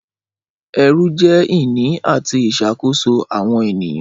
Ẹrú jẹ́ ìní àti ìṣàkóso àwọn ènìyàn.